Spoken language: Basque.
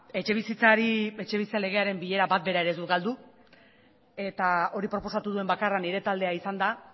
etxebizitzaren legearen bilera bat ere ez dut galdu eta hori proposatu duen bakarra nire taldea izan da